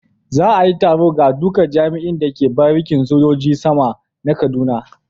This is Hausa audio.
Za a yi taro ga duka jami'in da ke barikin sojojin sama na kaduna.